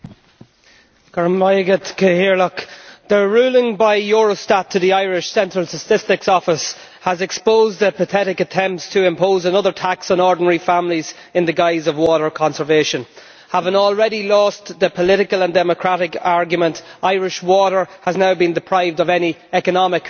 Mr President, the ruling by Eurostat to the Irish Central Statistics Office has exposed the pathetic attempts to impose another tax on ordinary families in the guise of water conservation. Having already lost the political and democratic argument, Irish Water has now been deprived of any economic rationale.